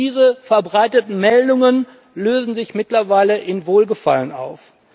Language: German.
Diese verbreiteten Meldungen lösen sich mittlerweile in Wohlgefallen auf.